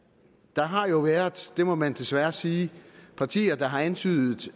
der har jo været det må man desværre sige partier der har antydet